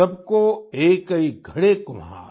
सभ कौ एकै घड़ै कुम्हार